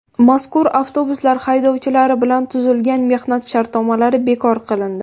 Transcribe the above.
Mazkur avtobuslar haydovchilari bilan tuzilgan mehnat shartnomalari bekor qilindi.